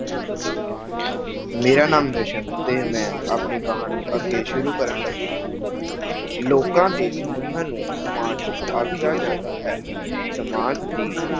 ਮੇਰਾ ਨਾਮ ਜਸਨ ਤੇ ਮੈਂ ਆਪਣੀ ਕਹਾਣੀ ਅੱਗੇ ਸ਼ੁਰੂ ਕਰਨ ਲੱਗਾ ਹਾਂਂ ਲੋਕਾਂ ਦੇ ਸਮੂਹਾਂ ਨੂੰ ਸਮਾਜ ਆਖਿਆ ਜਾਂਦਾ ਹੈ, ਸਮਾਜ ਦੀ